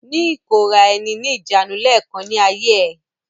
Ní ìkóra-ẹni-ní-ìjánu lẹ́ẹ̀kan ní ayé ẹ!